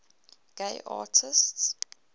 gay artists